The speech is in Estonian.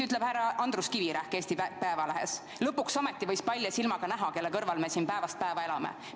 " Härra Andrus Kivirähk ütles Eesti Päevalehes: "Lõpuks ometi võis palja silmaga näha, kelle kõrval me ikkagi päevast päeva siin Eestis elame.